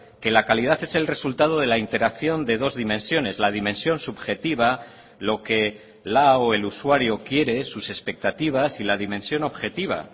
que la calidad es el resultado de la interacción de dos dimensiones la dimensión subjetiva lo que la o el usuario quiere sus expectativas y la dimensión objetiva